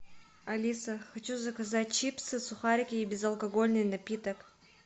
алиса хочу заказать чипсы сухарики и безалкогольный напиток